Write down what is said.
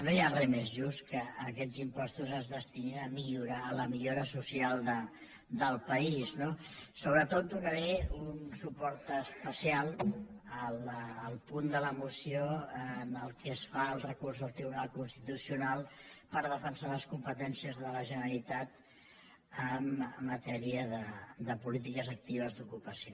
no hi ha res més just que aquests impostos es destinin a la millora social del país no sobretot donaré un suport especial al punt de la moció en el qual es fa el recurs al tribunal constitucional per defensar les competències de la generalitat en matèria de polítiques actives d’ocupació